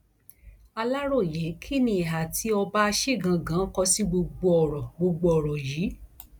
aláròyé kí ni ìhà tí ọba asigangan kọ sí gbogbo ọrọ gbogbo ọrọ yìí